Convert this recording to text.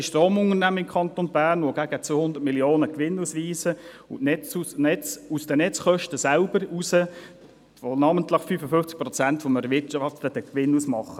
Wir haben im Kanton Bern grössere Stromunternehmen, die aus den Netzkosten heraus gegen 200 Mio. Franken Gewinn ausweisen, die namentlich 55 Prozent des erwirtschafteten Gewinns ausmachen.